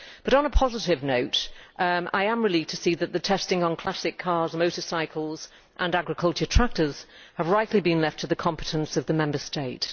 On a positive note, I am relieved to see that the testing on classic cars, motorcycles and agricultural tractors has rightly been left to the competence of the Member State.